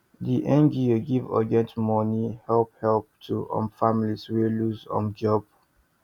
the ngo give urgent money help help to um families wey lose um job